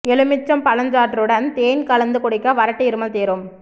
எலுமிச்சம் பழச்சாற்றுடன் தேன் கலந்து குடிக்க வறட்டு இருமல் தீரும்